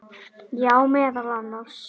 Já, meðal annars.